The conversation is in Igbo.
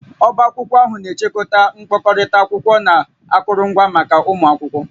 Ọbá akwụkwọ ahụ na-echekwa mkpokọta akwụkwọ na akụrụngwa maka ụmụ akwụkwọ